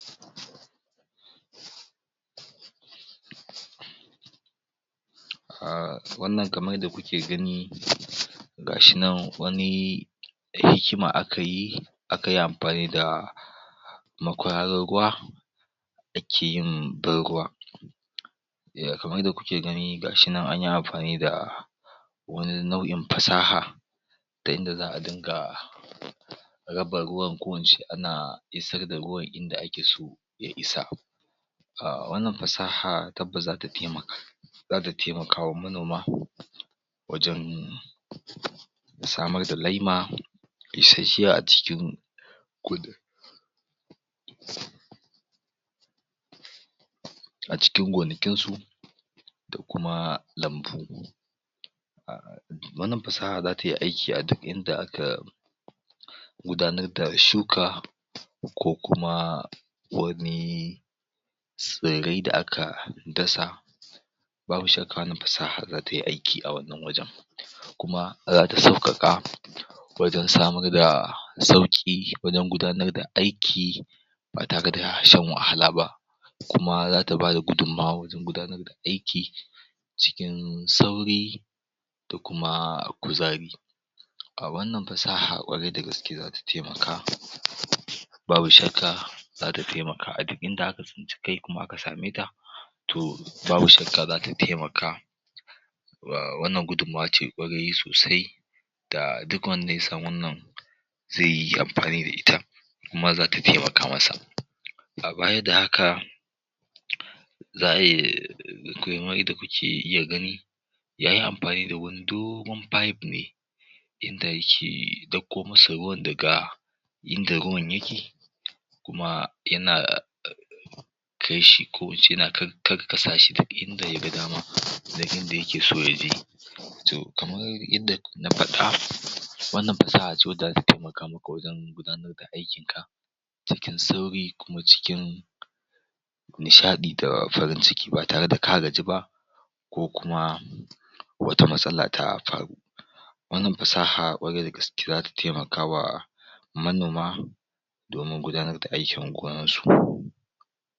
pause um wannan kamar yanda kuke gani ga shi nan wani hikima aka yi akayi amfani da makwararin ruwa ake yin ban ruwa kamar yanda kuke ga ni ga shi nan anyi amfani da wani nau'in fasaha ta inda za'a dinga raba ruwan ko ince ana isar da ruwan in da ake so ya isa um wannan fasaha tabbas zata temaka zata temaka wa manoma wajen samar da laima isashshiya a cikin a cikin gonakin su da kuma lambu wannan fasaha zata yi aiki a duk inda aka gudanar da shuka ko kuma wani tsirrai da aka dasa babu shakka wannan fasahar zata yi aiki a wannan wajen kuma zata sauƙaƙa wajen samar da sauƙi wajen gudanar da aiki ba tare da shan wahala ba kuma zata bada gudummawa wajen gudanar da aiki cikin sauri da kuma kuzari um wannan fasaha ƙwarai da gaske zata temaka babu shakka zata temaka a duk inda aka tsinci kai kuma aka same ta to babu shakka zata temaka um wannan gudummuwa ce ƙwarai sosai da duk wanda ya san wannan ze yi amfani da ita kuma zata temaka masa um baya da haka za'a um kamar yanda kuke iya gani yayi amfani da wani dogon pipe ne inda yake dako mu su ruwan daga inga ruwan yake kuma yana kaishi ko in ce yana kakkasa shi duk inda ya ga dama duk inda yake so ya je to kamar inda na faɗa wannan fasaha ce wanda temaka maka wajen gudanar da aikin ka cikin sauri kuma cikin nishaɗi da farin ciki ba tare da ka gaji ba ko kuma wata matsala ta faru wannan fasaha ƙwarai da gaske zata temaka wa manoma domin gudanar da aikin gonar su